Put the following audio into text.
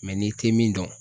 n'i tɛ min dɔn